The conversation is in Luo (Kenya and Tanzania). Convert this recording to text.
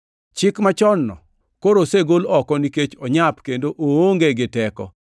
Chik machon-no koro osegol oko nikech onyap kendo oonge gi teko